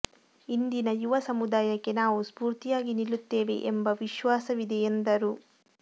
ಇಂದಿನ ಯುವ ಸಮುದಾಯಕ್ಕೆ ನಾವು ಸ್ಫೂರ್ತಿಯಾಗಿ ನಿಲ್ಲುತ್ತೇವೆ ಎಂಬ ವಿಶ್ವಾಸವಿದೆ ಎಂದರು